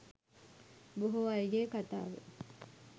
බොහෝ අයගේ කතාව.